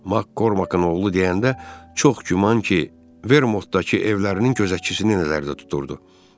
Makqorqın oğlu deyəndə çox güman ki, Vermontdakı evlərinin gözətçisini nəzərdə tuturdu.